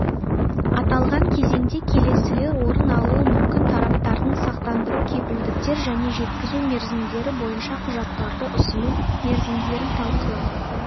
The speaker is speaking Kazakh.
аталған кезеңде келесілер орын алуы мүмкін тараптардың сақтандыру кепілдіктер және жеткізу мерзімдері бойынша құжаттарды ұсыну мерзімдерін талқылау